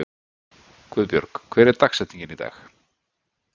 Guðbjörg, hver er dagsetningin í dag?